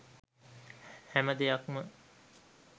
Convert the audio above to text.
හැම දෙයක්ම